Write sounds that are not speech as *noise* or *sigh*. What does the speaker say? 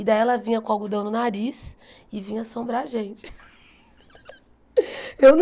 E daí ela vinha com algodão no nariz e vinha assombrar a gente. *laughs*